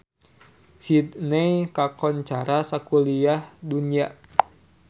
Sydney kakoncara sakuliah dunya